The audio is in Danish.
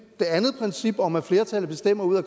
det andet princip om at flertallet bestemmer ud af